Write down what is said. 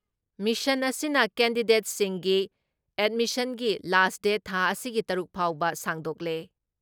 Mission ꯑꯁꯤꯅ ꯀꯦꯟꯗꯤꯁꯦꯠꯁꯤꯡꯒꯤ ꯑꯦꯠꯃꯤꯁꯟꯒꯤ ꯂꯥꯁ ꯗꯦꯠ ꯊꯥ ꯑꯁꯤꯒꯤ ꯇꯔꯨꯛ ꯐꯥꯎꯕ ꯁꯥꯡꯗꯣꯛꯂꯦ ꯫